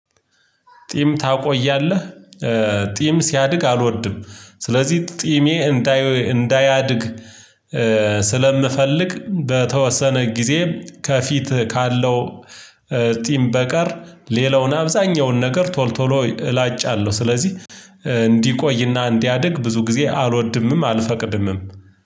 ጢም ታቆያለህ ጢም ሲያድግ አልወድም ስለዚህ ጢሜ እንዳያድግ ስለምፈልግ በተወሰነ ጊዜ ከፊት ካለው ጺም በቀር ሌላውን አብዛኛውን ነገር ቶል ቶሎ እላጫለሁ። ስለዚህ እንዲቆይና እንዲያድግ ብዙ ጊዜ አልወድምም አልፈቅድምም።